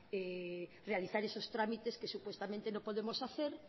realizar esos trámites que supuestamente no podemos hacer